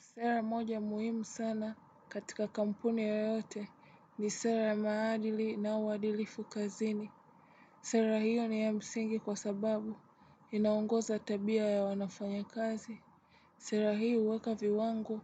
Sera moja muhimu sana katika kampuni yoyote ni sera ya maadili na uadilifu kazini. Sera hiyo ni ya msingi kwa sababu inaongoza tabia ya wanafanya kazi. Sera hii uweka viwango